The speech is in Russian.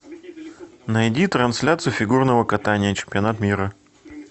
найди трансляцию фигурного катания чемпионат мира